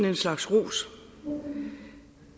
en slags ros